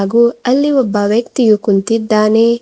ಹಾಗೂ ಅಲ್ಲಿ ಒಬ್ಬ ವ್ಯಕ್ತಿಯು ಕುಂತಿದ್ದಾನೆ.